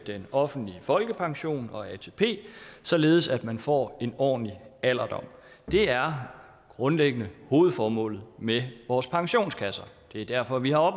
den offentlige folkepension og atp således at man får en ordentlig alderdom det er grundlæggende hovedformålet med vores pensionskasser det er derfor vi har